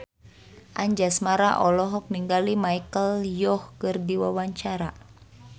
Anjasmara olohok ningali Michelle Yeoh keur diwawancara